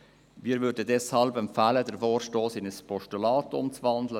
Wir würden deshalb empfehlen, den Vorstoss in ein Postulat umzuwandeln.